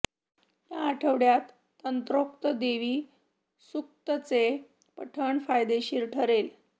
या आठवड्यात तंत्रोक्त देवी सूक्तचे पठण फायदेशीर ठरेल